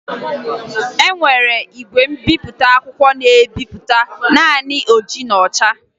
E nwere igwe mbipụta akwụkwọ na-ebipụta naanị n'oji na ọcha